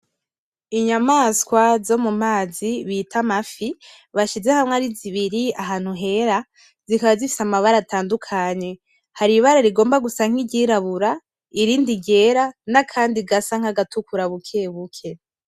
Inyamaswa zo mu mazi bita amafi, bashize hamwe arizibiri ahantu Hera zikaba zifise amabara atandukanye. Hari ibara rigomba gusa nk'iryirabura irindi ryera, N’akandi gasa nkagatukura bukebuke.